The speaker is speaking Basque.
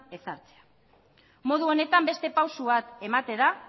ezartzea modu honetan beste pausu bat